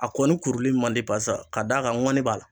A kɔni kuruli man di parisa ka d'a kan ŋɔni b'a la